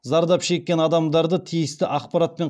зардап шеккен адамдарды тиісті ақпаратпен